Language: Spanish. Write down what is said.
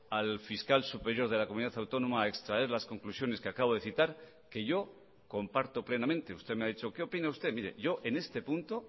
al fiscal superior de la comunidad autónoma a extraer las conclusiones que acabo de citar que yo comparto plenamente usted me ha dicho qué opina usted mire yo en este punto